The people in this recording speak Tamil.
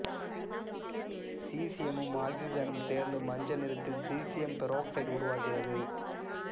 சீசியமும் ஆக்சிசனும் சேர்ந்து மஞ்சள் நிறத்தில் சீசியம் பெராக்சைடு உருவாகிறது